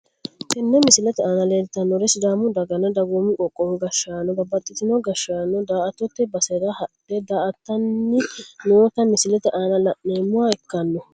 Tene misilete aana leeltanori sidaamu daganna dagoomu qoqqowu gashaanona babaxitino gashaano daa`atote basera hadhe daa`atani noota misilete aana la`noomoha ikano.